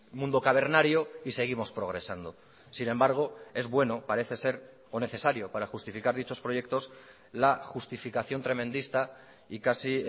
mundo cavernario y seguimos progresando sin embargo es bueno parece ser o necesario para justificar dichos proyectos la justificación tremendista y casi